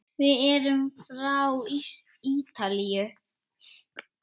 Við erum frá Ítalíu.